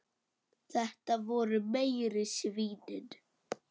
Þetta voru meiri svínin.